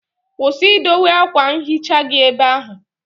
Kwụsị idowe akwa nhicha gị ebe ahụ!